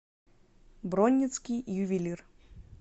бронницкий ювелир